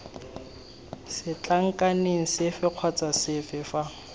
setlankaneng sefe kgotsa sefe fa